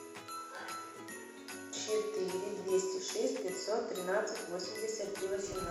четыре двести шесть пятьсот тринадцать восемьдесят три восемнадцать